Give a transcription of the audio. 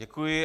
Děkuji.